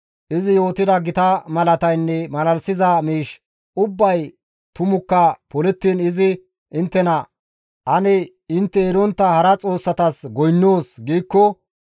izi yootida gita malataynne malalisiza miish ubbay tumukka polettiin izi inttena, «Ane intte erontta hara xoossatas goynnoos» giikko,